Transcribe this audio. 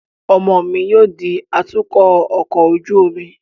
Ọmọ mi yóò di atukọ ọkọ ojú omi